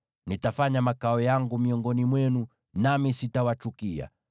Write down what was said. Nitafanya makao yangu miongoni mwenu, nami sitawachukia.